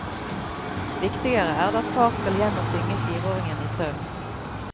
Viktigere er det at far skal hjem og synge fireåringen i søvn.